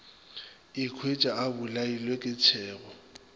ikhwetša a bolailwe ke tšhego